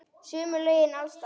Sömu lögin alls staðar.